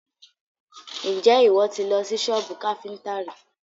Ǹjẹ́ ìwọ ti lọ sí sọ́bù káfíntà rí?